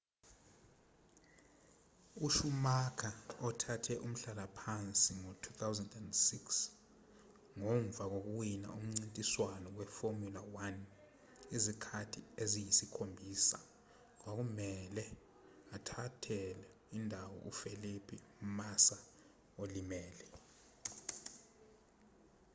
ushumacher othathe umhlalaphansi ngo-2006 ngomva kokuwina umncintiswano weformula 1 izikhathi eziyisikhombisa kwakumelwe athathele indawo ufelipe massa olimele